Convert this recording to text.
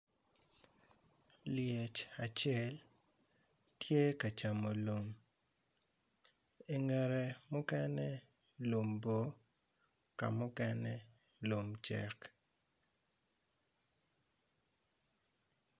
Lyec acel tye ka camo lum i ngete mukene lum bor ka mukene lum bor.